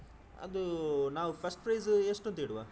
ಅದು ನಾವು first prize ಎಷ್ಟು ಅಂತಿಡುವ?